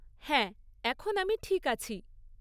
হ্যাঁ, এখন আমি ঠিক আছি।